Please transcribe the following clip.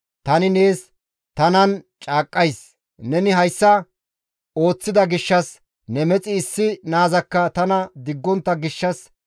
«Tani nees tanan caaqqays; neni hayssa ooththida gishshas ne mexi issi naazakka tana diggontta gishshas,